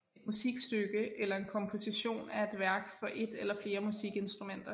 Et musikstykke eller en komposition er et værk for et eller flere musikinstrumenter